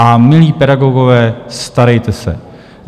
A milí pedagogové, starejte se!